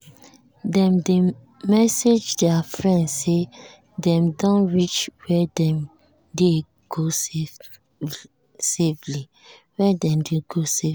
dem dey message their friend say dem don reach where dem dey go safely.